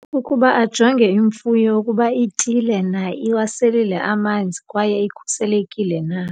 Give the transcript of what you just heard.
Ukuba ajonge imfuyo ukuba ityile na, iwaselile amanzi kwaye ikhuselekile na.